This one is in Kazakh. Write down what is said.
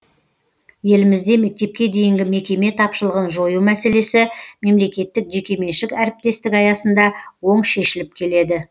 елімізде мектепке дейінгі мекеме тапшылығын жою мәселесі мемлекеттік жеке меншік әріптестік аясында оң шешіліп келеді